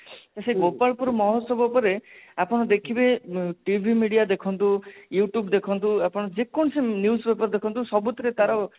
ଗୋପାଳପୁର ମହୋଚ୍ଚବ ପରେ ଆପଣ ଦେଖିବେ TV media ଦେଖନ୍ତୁ youtube ଦେଖନ୍ତୁ ଆପଣ ଯେକୌଣସି news paper ଦେଖନ୍ତୁ ସବୁଥିରେ ତାର